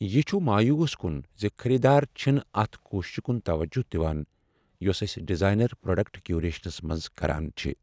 یہ چھ مایوس کن ز خریدار چھنہٕ اتھ کوششسہِ کُن توجہ دوان یۄس أسۍ ڈیزاینر پرٛوڈکٹ کیوریشنس منز کران چھ۔